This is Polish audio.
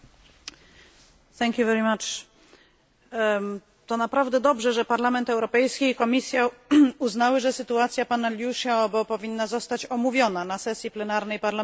Pani Przewodnicząca! To naprawdę dobrze, że Parlament Europejski i Komisja uznały, że sytuacja pana Liu Xiaobo powinna zostać omówiona na sesji plenarnej Parlamentu Europejskiego.